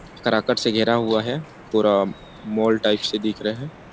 कराकट से घेरा हुआ है पूरा माल टाइप से दिख रहा है ।